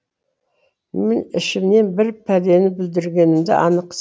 мен ішімнен бір пәлені бүлдіргенімді анық